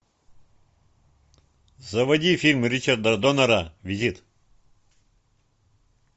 заводи фильм ричарда доннера визит